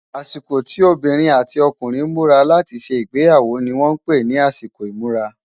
àsìkò tí obìnrin àti ọkùnrin múra láti ṣé igbeyawo ní wón pé nì àsìkò imura